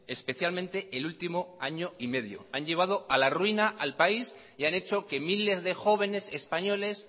especialmente el último año y medio han llevado a la ruina al país y han hecho que miles de jóvenes españoles